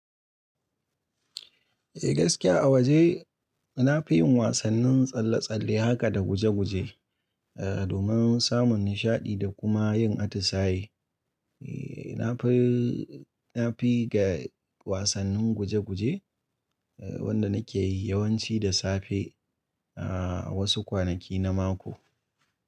Eh gaskiya a waje nafi yin wasannin tsalle-tsalle haka da guje-guje, domin samun nishaɗi da kuma yin atisaye. Ee nafi, nafi ga wasannin guje-guje wanda nake yi yawanci da safe a wasu kwanaki na mako.